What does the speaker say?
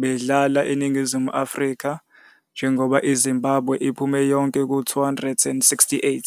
bedlala neNingizimu Afrika njengoba iZimbabwe iphume yonke ku-268.